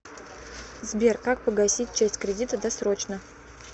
сбер как погасить часть кредита досрочно